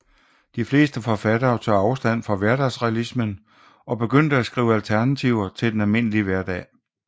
De fleste forfattere tog afstand fra hverdagsrealismen og begyndte at skrive alternativer til den almindelige hverdag